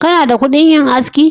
Kana da kudin yin aski.